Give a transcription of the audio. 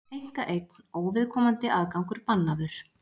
Einkaeign, óviðkomandi aðgangur bannaður